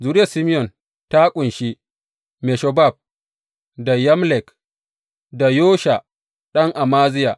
Zuriyar Simeyon ta ƙunshi Meshobab, da Yamlek, da Yosha ɗan Amaziya.